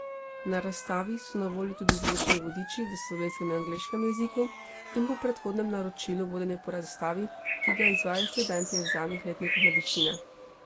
Na razstavi so na voljo tudi zvočni vodiči v slovenskem in angleškem jeziku in po predhodnem naročilu vodenje po razstavi, ki ga izvajajo študentje zadnjih letnikov medicine.